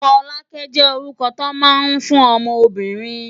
Foluke jé órúkò tó má n fún òmò óbìrín